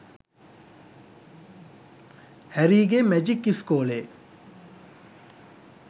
හැරීගේ magic ඉස්කෝලේ